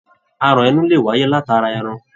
Aràn inú lè wáyé látara ẹran.